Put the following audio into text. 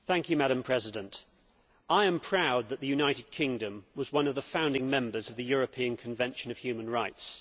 Madam President, I am proud that the United Kingdom was one of the founding members of the European Convention of Human Rights.